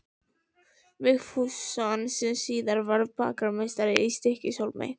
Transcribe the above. Vigfússon sem síðar varð bakarameistari í Stykkishólmi.